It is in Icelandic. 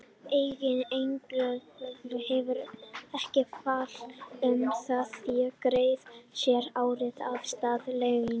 Eigandi einkahlutafélags hefur ekki val um það að greiða sér arð í stað launa.